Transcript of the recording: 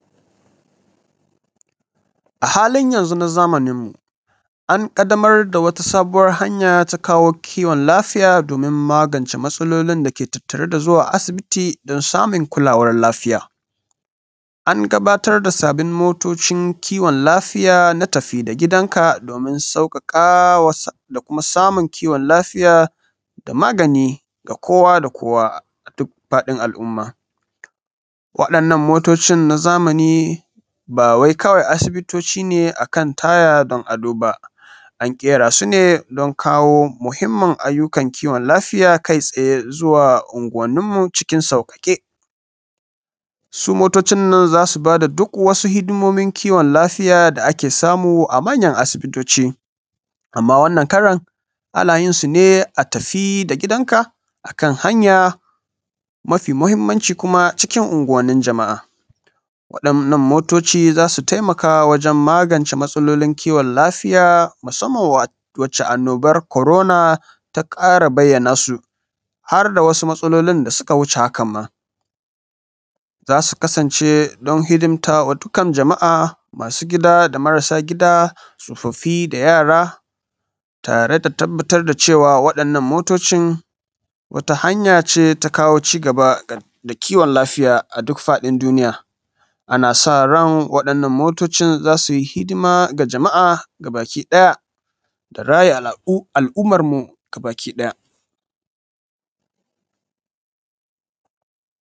A halin yanzu na zamanin mu an ƙaddamar da wata sabuwar hanya ta kawo kiwon lafiya domin magance masalolin dake tatare da zuwa asibiti don samun kulawan lafiya. An gabatar da sabbin motocin kiwon lafiya na tafi da gidanka domin sauƙaƙawa da kuma samun kiwon lafiya da maganin da kowa da kowa a duk faɗin al’umma. Waɗanan motocin na zamani ba wai kawai asibitoci ne a kan taya don ado ba, an ƙera su ne don kawo muhimmin ayyukan kiwon lafiya kai tsaye zuwa anguwanin mu cikin sauƙaƙe. Su motocin nan za su ba da duk wasu hidimomin kiwon lafiya da ake samu a manyan asibitoci. Amma wannan karan ana yin su ne a tafi da gidanka akan hanya mafi muhimmanci kuma cikin unguwanin jama'a. Waɗanan motocin za su taimaka wajan magance masalolin kiwon lafiya musamman wacce annoban korona ta ƙara bayana su, har da wasu matsalolin da suka wuce haka ma. Za su kasance don hidimta ma dukan jama'a, ma su gida da marasa gida, tsofafi da yara, tare da tabbatar da cewa waɗannan motocin wata hanya ce ta kawo cigaba da kiwon lafiya a duk faɗin duniya. Ana n sa ran waɗanan motocin za su hidima ga jama'a ga baki ɗaya da raya al’umma mu gabaki ɗaya.